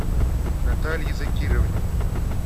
наталье закировне